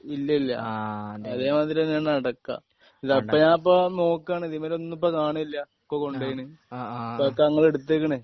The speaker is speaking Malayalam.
ഇല്ല ഇല്ല അതെ മാതിരി തന്നെയാണ് അടക്ക അല്ല ഇപ്പൊ ഞാനിപ്പോ നോക്കുവാണ് ഇതിമ്മലൊന്നും ഇപ്പൊ കാണില്ല ഒക്കെ കൊണ്ടോയിന് ഒക്കെ ഞങ്ങള് എടുത്തേക്കണ്‌